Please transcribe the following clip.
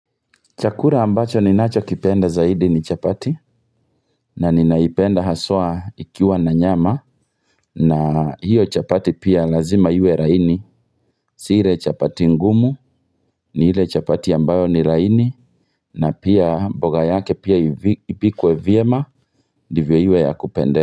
Chakura ambacho ninacho kipenda zaidi ni chapati na ninaipenda haswa ikiwa na nyama na hiyo chapati pia lazima iwe laini. Si ile chapati ngumu ni ile chapati ambayo ni laini na pia mboga yake pia ipikwe vyema dndvyo iwe ya kupendeza.